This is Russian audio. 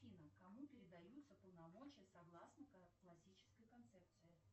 афина кому передаются полномочия согласно классической концепции